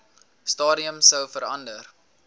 stadium sou verander